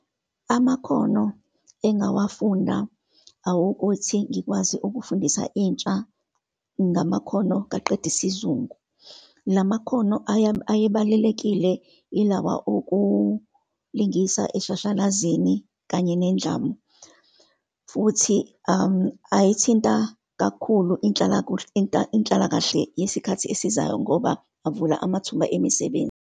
Amakhono engawafunda awokuthi ngikwazi ukufundisa intsha ngamakhono kaqeda isizungu. La makhono ayebalulekile ilawa okulingisa eshashalazini, kanye nendlamu. Futhi ayithinta kakhulu inhlalakahle yesikhathi esizayo, ngoba avula amathuba emisebenzi.